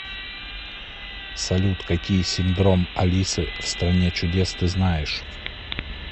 салют какие синдром алисы в стране чудес ты знаешь